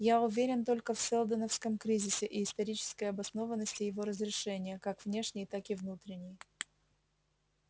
я уверен только в сэлдоновском кризисе и исторической обоснованности его разрешения как внешней так и внутренней